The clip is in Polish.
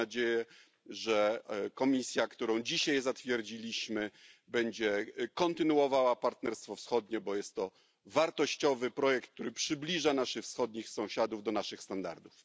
Mam nadzieję, że Komisja, którą dzisiaj zatwierdziliśmy, będzie kontynuowała Partnerstwo Wschodnie, bo jest to wartościowy projekt, który przybliża naszych wschodnich sąsiadów do naszych standardów.